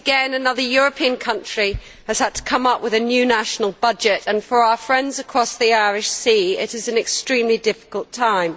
Another European country has yet again had to come up with a new national budget, and for our friends across the Irish Sea, it is an extremely difficult time.